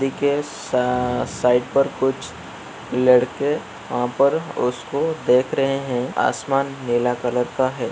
देखिए सा साईट पर कुछ लड़के वहाॅं पर उसको देख रहे हैं आसमान नीला कलर का है।